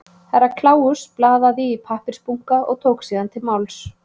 Herra Kláus blaðaði í pappírsbunka og tók síðan til máls.